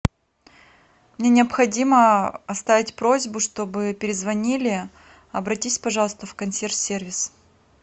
мне необходимо оставить просьбу чтобы перезвонили обратись пожалуйста в консьерж сервис